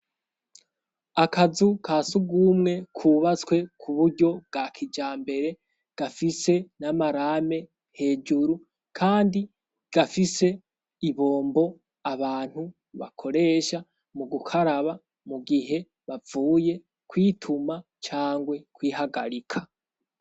Akazu ka sugumwe kubatswe ku buryo bwa kijambere gafise n'amarame hejuru, kandi gafise ibombo abantu bakoresha mu gukaraba mu gihe bavuye kwituma cangwe kwihagarika.